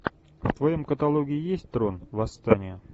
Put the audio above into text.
в твоем каталоге есть трон восстание